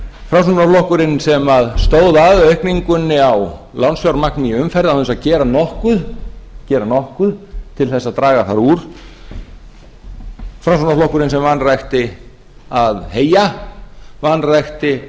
framsóknarflokkurinn sem stóð að aukningunni á lánsfjármagni í umferð án þess að gera nokkuð gera nokkuð til þess að draga þar úr framsóknarflokkurinn sem vanrækti að heyja vanrækti